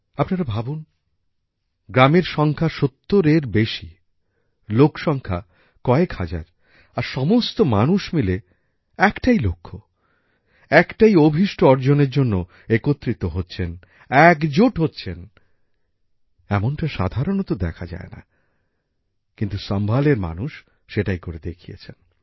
আপনারা ভাবুন গ্রামের সংখ্যা সত্তরের বেশী লোক সংখ্যা কয়েক হাজার আর সমস্ত মানুষ মিলে একটাই লক্ষ্য একটাই অভিষ্ট অর্জনের জন্য একত্রিত হচ্ছেন একজোট হচ্ছেন এমনটা সাধারণত দেখা যায় না কিন্তু সম্ভালএর মানুষ সেটাই করে দেখিয়েছেন